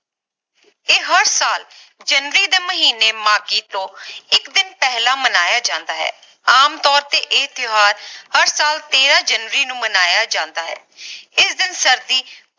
ਇਹ ਹਰ ਸਾਲ ਜਨਵਰੀ ਦੇ ਮਹੀਨੇ ਮਾਘੀ ਤੋਂ ਇਕ ਦਿਨ ਪਹਿਲਾਂ ਮਨਾਇਆ ਜਾਂਦਾ ਹੈ ਆਮ ਤੋਰ ਤੇ ਇਹ ਤਿਓਹਾਰ ਹਰ ਸਾਲ ਤੇਰਾਂ ਜਨਵਰੀ ਨੂੰ ਮਨਾਇਆ ਜਾਂਦਾ ਹੈ ਇਸ ਦਿਨ ਸਰਦੀ